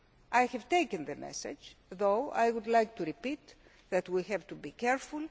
I have taken the message on board, although I would like to repeat that we have to be careful.